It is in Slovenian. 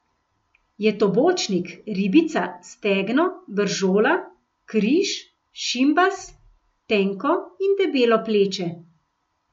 Je to bočnik, ribica, stegno, bržola, križ, šimbas, tenko in debelo pleče ...